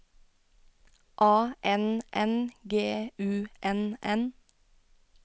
A N N G U N N